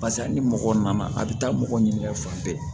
Barisa ni mɔgɔ nana a bɛ taa mɔgɔ ɲinika fan bɛɛ